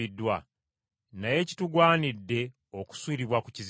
Naye kitugwanidde okusuulibwa ku kizinga.”